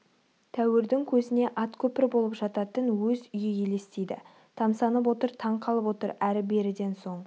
тәуірдің көзіне ат көпір болып жататын өз үйі елестейді тамсанып отыр таң қалып отыр әрі-беріден соң